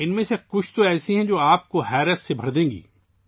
ان میں سے کچھ ایسے ہیں جو آپ کو حیرت زدہ کر دیں گے